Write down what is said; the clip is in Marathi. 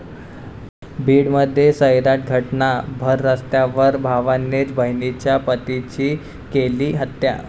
बीडमध्ये 'सैराट' घटना, भररस्त्यावर भावानेच बहिणीच्या पतीची केली हत्या